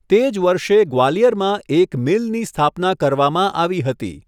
તે જ વર્ષે ગ્વાલિયરમાં એક મિલની સ્થાપના કરવામાં આવી હતી.